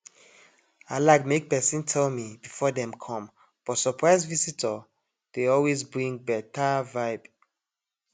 i like make pesin tell me before dem com but surprise visitor dey always bring beta vibe